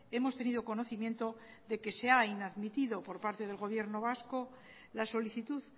hemos tenido conocimiento de que se ha inadmitido por parte del gobierno vasco la solicitud